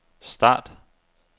start